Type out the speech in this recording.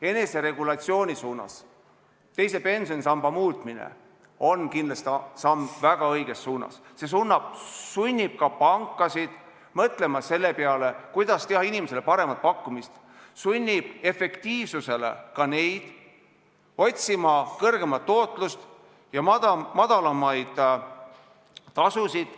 Eneseregulatsiooni suunas teise pensionisamba muutmine on kindlasti samm väga õiges suunas, sest see sunnib pankasid mõtlema, kuidas teha inimestele paremat pakkumist, sunnib efektiivsusele ka neid, otsima suuremat tootlust ja madalamaid tasusid.